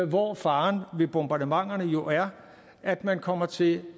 hvor faren ved bombardementerne jo er at man kommer til